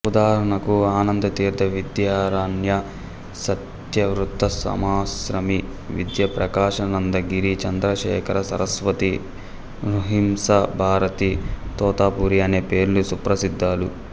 ఉదాహరణకు ఆనందతీర్ధ విద్యారణ్య సత్యవృతసామాశ్రమి విద్యాప్రకాశానందగిరి చంద్రశేఖరసరస్వతి నృసింహ భారతి తోతాపురి అనే పేర్లు సుప్రసిద్దాలు